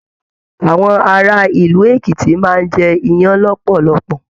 Àwọn ará ìlú Èkìtì máa n jẹ iyán lọpọlọpọ.